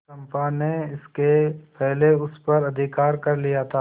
चंपा ने इसके पहले उस पर अधिकार कर लिया था